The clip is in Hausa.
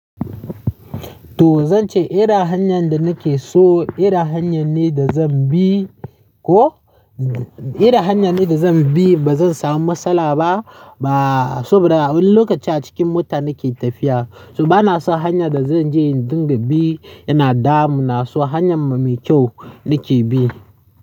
To zan ce irin hanyar da nake so irin hanyar ne da zan bi. Ko irin hanyar ne da zan bi, ba zan samu matsala ba. Ba, saboda a wani lokaci a cikin mota nake tafiya. So bana so hanyar da zan je dinga bi yana damu, na so hanyar mai kyau nake bi.